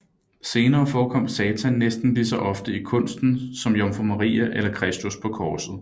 Senere forekom Satan næsten lige så ofte i kunsten som jomfru Maria eller Kristus på korset